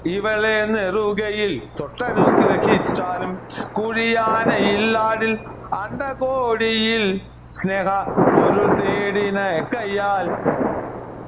ഇവളെ നിറുകയിൽ തൊട്ടനുഗ്രഹിച്ചാലും കുഴിയാനയിൽലാടിൽ അണ്ഡകോടിയിൽ സ്നേഹ പ്പൊരുൾ തേടിന കൈയ്യാൽ